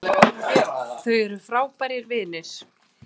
Þau eru frábærir vinir